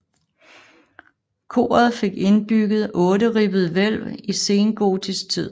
Koret fik indbygget otteribbet hvælv i sengotisk tid